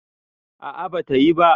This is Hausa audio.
a a bata yi ba